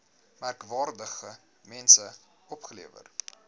merkwaardige mense opgelewer